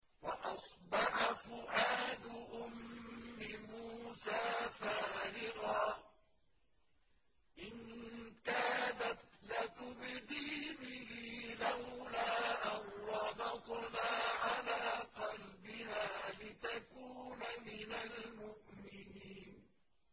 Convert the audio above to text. وَأَصْبَحَ فُؤَادُ أُمِّ مُوسَىٰ فَارِغًا ۖ إِن كَادَتْ لَتُبْدِي بِهِ لَوْلَا أَن رَّبَطْنَا عَلَىٰ قَلْبِهَا لِتَكُونَ مِنَ الْمُؤْمِنِينَ